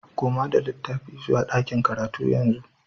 Koma da littafin zuwa ɗakin karatu yanzu